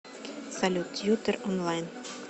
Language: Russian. салют тьютор онлайн